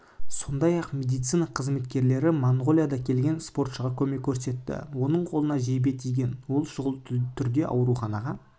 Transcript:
сондай-ақ медицина қызметкерлері монғолиядан келген спортшыға көмек көрсетті оның қолына жебе тиген ол шұғыл түрде аурухана